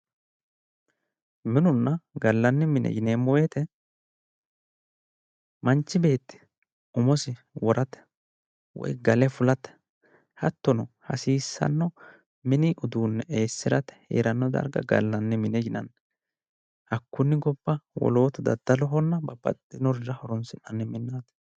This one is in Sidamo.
minenna gallanni mine yineemmo wote manchi beetti umosi worate woyi gale fulate hattono hasiissanno mini uduunne eessirate heerano darga gallanni mine yinanni hakkunni gobba wolootu daddalohonna wolurira horonsi'nanni minnaati.